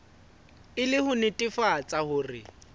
e le ho netefatsa hore